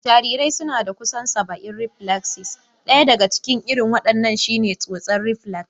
Jarirai suna da kusan saba'in reflaksis, ɗaya daga cikin irin wadannan shi ne tsotsa reflax.